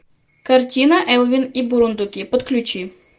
картина элвин и бурундуки подключи